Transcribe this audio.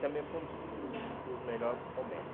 Também foi um dos dos um dos melhor momentos.